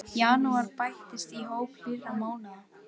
Janúar bættist í hóp hlýrra mánaða